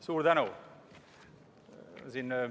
Suur tänu!